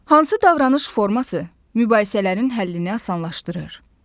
Hansı davranış forması mübahisələrin həllini asanlaşdırır?